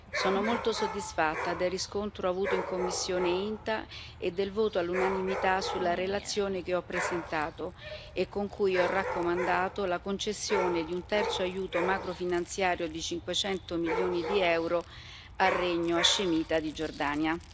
Sono molto soddisfatta del riscontro avuto in commissione INTA e del voto all'unanimità sulla relazione che ho presentato e con cui ho raccomandato la concessione di un terzo aiuto macrofinanziario di 500 milioni di euro al Regno hascemita di Giordania.